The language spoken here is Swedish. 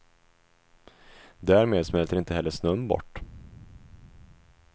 Därmed smälter inte heller snön bort.